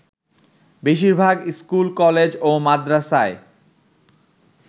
বেশির ভাগ school, college ও মাদরাসায়